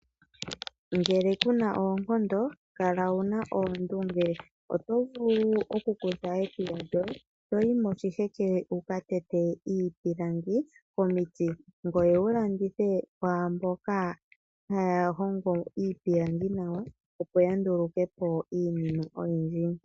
Ngele ku na oonkondo, kala wu na oondunge. Oto vulu okukutha ekuya lyoye toyi moshiheke wu ka tete iipilangi komiti ngoye wu landithe kwaa mboka haya hongo iipilangi nawa, opo ya nduluke po iinima oyindji.